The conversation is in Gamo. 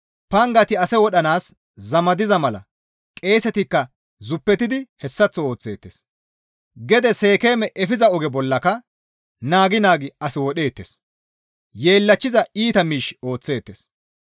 Pangati ase wodhanaas zamadiza mala qeesetikka zuppetidi hessaththo ooththeettes. Gede Seekeeme efiza oge bollaka naagi naagi as wodheettes; yeellachchiza iita miish ooththeettes.